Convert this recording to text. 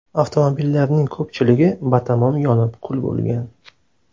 Avtomobillarning ko‘pchiligi batamom yonib kul bo‘lgan.